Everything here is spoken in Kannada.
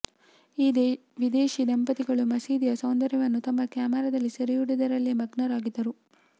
ಈ ವಿದೇಶೀ ದಂಪತಿಗಳು ಮಸೀದಿಯ ಸೌಂದರ್ಯವನ್ನು ತಮ್ಮ ಕ್ಯಾಮೆರಾದಲ್ಲಿ ಸೆರೆಹಿಡಿಯುವುದರಲ್ಲೇ ಮಗ್ನರಾಗಿದ್ದರು